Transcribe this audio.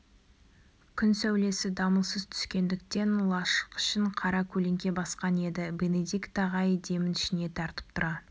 күн сәулесі дамылсыз түскендіктен лашық ішін қара көлеңке басқан еді бенедикт ағай демін ішіне тартып тұра